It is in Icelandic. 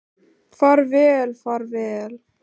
Far vel far vel.